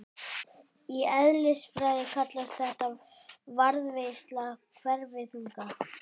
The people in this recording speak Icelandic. Í eðlisfræði kallast þetta varðveisla hverfiþunga.